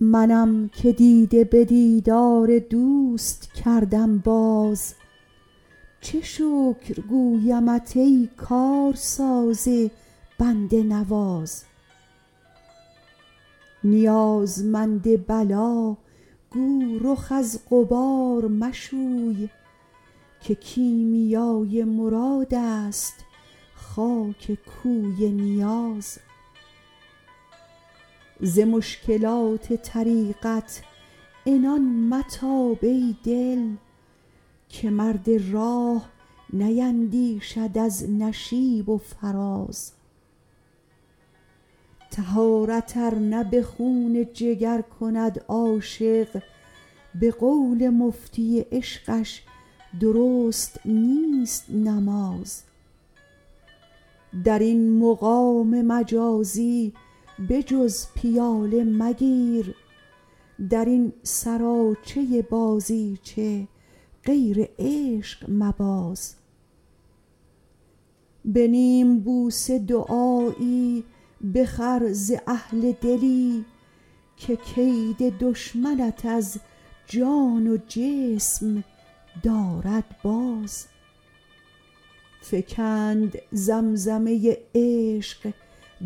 منم که دیده به دیدار دوست کردم باز چه شکر گویمت ای کارساز بنده نواز نیازمند بلا گو رخ از غبار مشوی که کیمیای مراد است خاک کوی نیاز ز مشکلات طریقت عنان متاب ای دل که مرد راه نیندیشد از نشیب و فراز طهارت ار نه به خون جگر کند عاشق به قول مفتی عشقش درست نیست نماز در این مقام مجازی به جز پیاله مگیر در این سراچه بازیچه غیر عشق مباز به نیم بوسه دعایی بخر ز اهل دلی که کید دشمنت از جان و جسم دارد باز فکند زمزمه عشق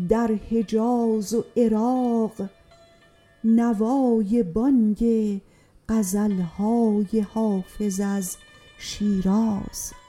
در حجاز و عراق نوای بانگ غزل های حافظ از شیراز